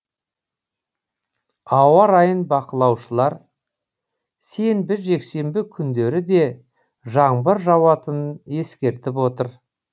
ауа райын бақылаушылар сенбі жексенбі күндері де жаңбыр жауатынын ескертіп отыр